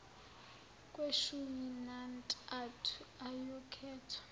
kweshumi nantathu ayokhethwa